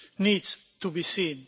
needs to be seen.